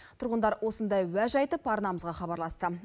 тұрғындар осындай уәж айтып арнамызға хабарласты